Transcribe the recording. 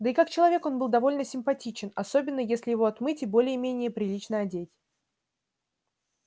да и как человек он был довольно симпатичен особенно если его отмыть и более-менее прилично одеть